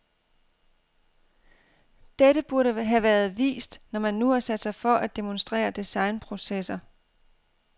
Dette burde være vist, når man nu har sat sig for at demonstrere designprocesser.